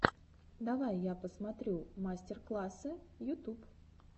давай я посмотрю мастер классы ютуб